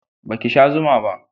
Ba ki sha zuma ba?